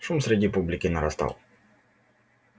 шум среди публики нарастал